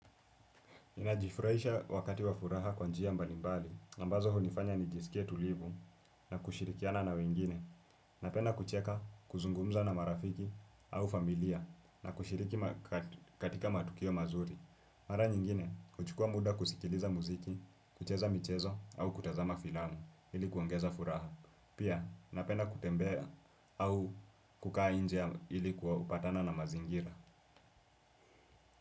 Ninajifuraisha wakati wa furaha kwa njia mbalimbali, ambazo hunifanya nijisikie tulivu na kushirikiana na wengine, napenda kucheka kuzungumza na marafiki au familia na kushiriki katika matukio mazuri. Mara nyingine, uchukua muda kusikiliza muziki, kucheza michezo au kutazama filamu ili kuongeza furaha. Pia, napenda kutembea au kukaa nje ilikuwa patana na mazingira.